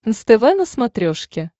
нств на смотрешке